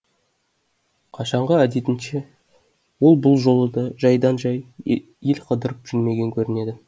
қашанғы әдетінше ол бұл жолы да жайдан жай ел қыдырып жүрмеген көрінеді